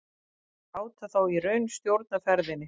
Láta þá í raun stjórna ferðinni?